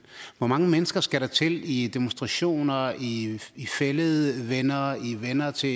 hvor mange mennesker skal der til i demonstrationer i i fælledvenner i venner til